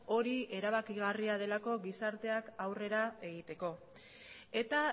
hori erabakigarria delako gizarteak aurrera egiteko eta